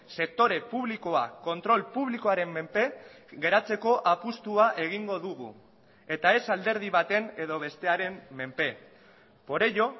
sektore publikoa kontrol publikoaren menpe geratzeko apustua egingo dugu eta ez alderdi baten edo bestearen menpe por ello